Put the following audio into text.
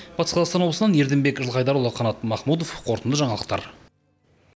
батыс қазақстан облысынан ерденбек жылқайдарұлы қанат махмұдов қорытынды жаңалықтар